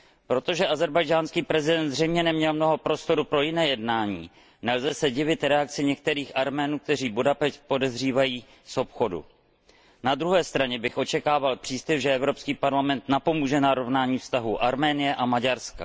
Protože ázerbajdžánský prezident zřejmě neměl mnoho prostoru pro jiné jednání, nelze se divit reakci některých Arménů, kteří Budapešť podezřívají z obchodu. Na druhé straně bych očekával příslib, že Evropský parlament napomůže narovnání vztahů Arménie a Maďarska.